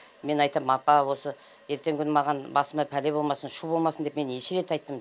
мен айтам апа осы ертеңгі күні маған басыма пәле болмасын шу болмасын деп мен неше рет айттым